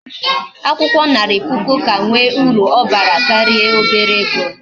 Akwukwo Nari puku ka nwe uru obara karia ndi obere ego